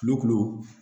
Kulo kulu